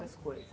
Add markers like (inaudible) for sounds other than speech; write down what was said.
(unintelligible) coisas.